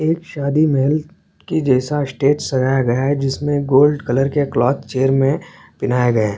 शादी मेल के जैसा स्टेज सजाया गया है जिसमें गोल्ड कलर के क्लॉक चेयर में पहनाया गया है।